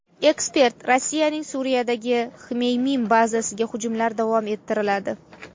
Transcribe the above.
Ekspert: Rossiyaning Suriyadagi Xmeymim bazasiga hujumlar davom ettiriladi.